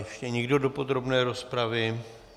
Ještě někdo do podrobné rozpravy?